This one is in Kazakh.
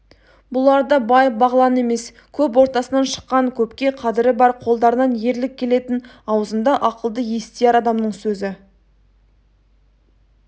бұлар да бай-бағлан емес көп ортасынан шыққан көпке қадірі бар қолдарынан ерлік келетін аузында ақылды естияр адамның сөзі